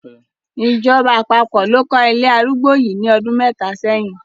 Ìjọba àpapọ̀ ló kọ́ ilé arúgbó yìí ní ọdún mẹ́ta sẹ́yìn.